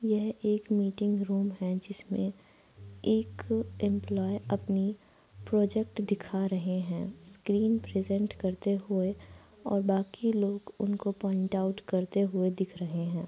यह एक meeting room है जिसमें एक एम्प्लॉये अपनी प्रोजेक्ट दिखा रहे हैं स्क्रीन प्रजेन्ट करते हुए और बाकी लोग उनको पॉइन्ट आउट करते हुए दिख रहे है ।